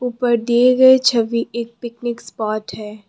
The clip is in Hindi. ऊपर दिए गए छवि एक पिकनिक स्पॉट है।